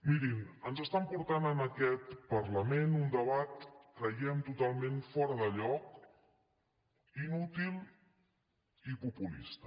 mirin ens estan portant en aquest parlament un debat creiem que totalment fora de lloc inútil i populista